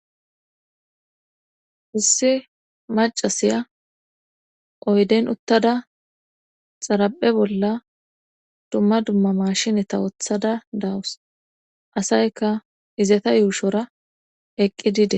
Issi macasiya oyden uttada xaraphe bolla dumma dumma mashineta wothada dawus asayka izata yuushora eqqi dide.